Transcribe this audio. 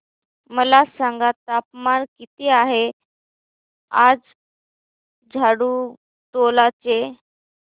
मला सांगा तापमान किती आहे आज झाडुटोला चे